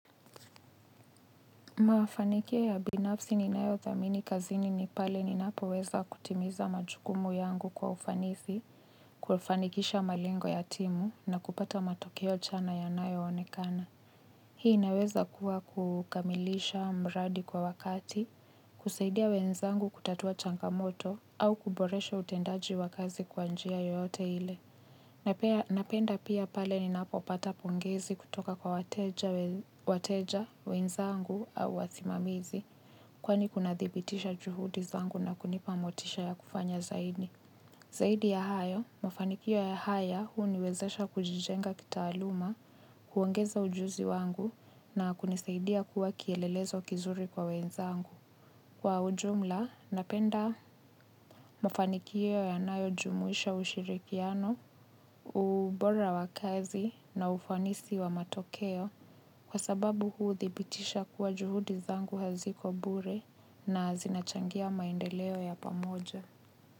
Maafanikio ya binafsi ni nayo dhamini kazini ni pale ni napo weza kutimiza majukumu yangu kwa ufanisi, kufanikisha malengo ya timu na kupata matokeo chana ya nayo onekana. Hii inaweza kuwa kukamilisha mradi kwa wakati, kusaidia wenzangu kutatua changamoto au kuboresha utendaji wa kazi kwanjia yoyote ile na pia na penda pia pale ni napopata pongezi kutoka kwa wateja wenzangu au wasimamizi. Kwani kunadhibitisha juhudizangu na kunipamotisha ya kufanya zaidi. Zaidi ya hayo, mafanikio ya haya huu niwezesha kujijenga kitaaluma kuongeza ujuzi wangu na kunisaidia kuwa kielelezo kizuri kwa wenzangu. Kwa ujumla, napenda mafanikio ya nayo jumuisha ushirikiano ubora wakazi na ufanisi wa matokeo kwa sababu huthi bitisha kuwa juhudi zangu haziko bure na zinachangia maendeleo ya pamoja.